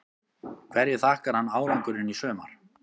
Hverju þakkar hann árangurinn í sumar?